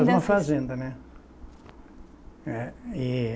Na mesma fazenda, né? É e